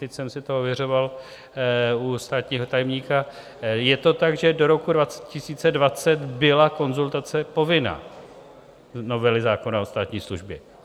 Teď jsem si to ověřoval u státního tajemníka, je to tak, že do roku 2020 byla konzultace povinná - novely zákona o státní službě.